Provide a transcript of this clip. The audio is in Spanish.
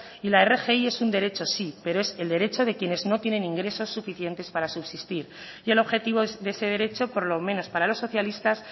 y la rgi es un derecho sí pero es el derecho de quienes no tienen ingresos suficientes para subsistir y el objetivo de ese derecho por lo menos para los socialistas